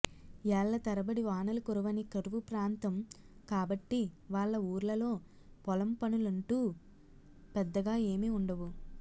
ఏళ్ళ తరబడి వానలు కురవని కరువు ప్రాంతం కాబట్టి వాళ్ళ ఊర్లలో పొలం పనులంటూ పెద్దగా ఏమీ ఉండవు